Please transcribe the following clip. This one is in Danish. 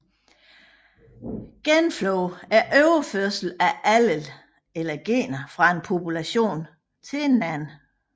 Genflow er overførsel af allel eller gener fra en population til en anden